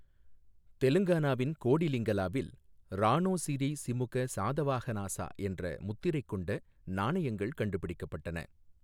தெலுங்கானாவின் கோடிலிங்கலாவில், "ராணோ ஸிரி சிமுக சாதவாஹனாஸா" என்ற முத்திரைக் கொண்ட நாணயங்கள் கண்டுபிடிக்கப்பட்டன.